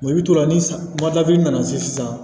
i bɛ to la ni nana se sisan